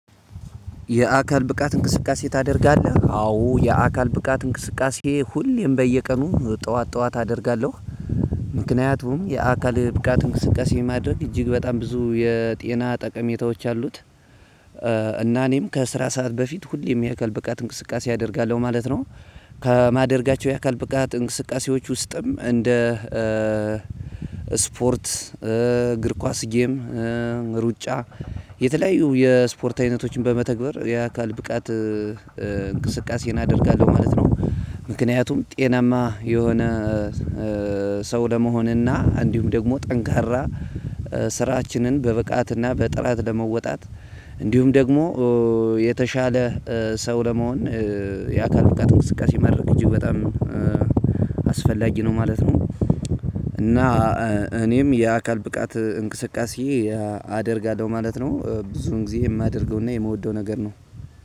የአካል ብቃት እንቅስቃሴ ታደርጋለህ? አዎ የአካል ብቃት እንቅስቃሴ ሁሌም በየቀኑ ጠዋት ጠዋት አደርጋለሁ ምክንያቱም የአካል ብቃት እንቅስቃሴ ማድረግ እጅግ በጣም ብዙ የጤና ጠቀሜታዎች አሉት። እና እኔም ከስራ ሰዓት በፊት ሁሌም የአካል ብቃት እንቅስቃሴ አደርጋለሁ ማለት ነው። ከማደርጋቸው የአካል ብቃት እንቅስቃሴዎች ውስጥም እንደ ስፖርት፣ እግር ኳስ፣ ጌም፣ ሩጫ የተለያዩ የስፖርት አይነቶችን በመተግበር የአካል ብቃት እንቅስቃሴ እደርጋለሁ ማለት ነው። ምክንያቱም ጤናማ የሆነ ሰው ለመሆንና እንዲሁም ደግሞ ጠንካራ ስራችንን በብቃትና በጥራት ለመወጣት እንዲሁም ደግሞ የተሻለ ሰው ለመሆን የአካል ብቃት እንቅስቃሴ ማድረግ እጅግ በጣም አስፈላጊ ነው ማለት ነው እና እኔም የአካል ብቃት እንቅስቃሴ አደርጋለሁ ማለት ነው ብዙን ጊዜ የማደርገውና የምወደው ነገር ነው።